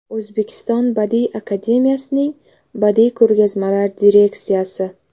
O‘zbekiston Badiiy akademiyasining badiiy ko‘rgazmalar direksiyasi.